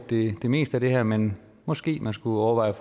det meste af det her men måske man skulle overveje